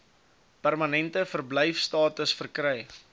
permanente verblyfstatus verkry